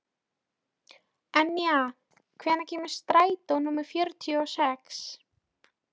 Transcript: Enja, hvenær kemur strætó númer fjörutíu og sex?